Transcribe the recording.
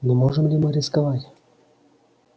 но можем ли мы рисковать